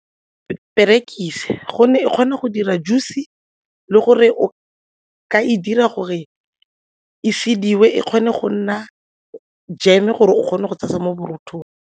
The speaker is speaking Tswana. Perekise gonne e kgona go dira juice-e le gore o ka e dira gore e sediwe e kgone go nna jeme gore o kgone go tshasa mo borothong.